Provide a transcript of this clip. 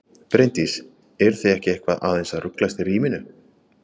Bryndís: Eruð þið ekki eitthvað aðeins að ruglast í ríminu?